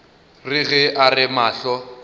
re ge a re mahlo